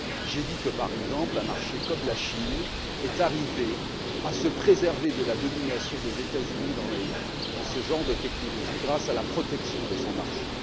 J'ai dit que, par exemple, un marché comme la Chine est arrivé à se préserver de la domination des États-Unis dans ce genre de technologies grâce à la protection de son marché.